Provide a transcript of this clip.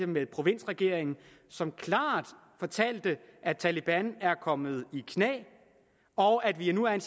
med provinsregeringen som klart fortalte at taleban er kommet i knæ og at vi nu er i